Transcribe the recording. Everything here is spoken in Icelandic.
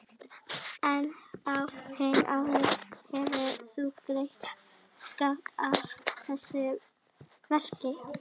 En á þeim árum hefur hún greitt skatta af þessu verki.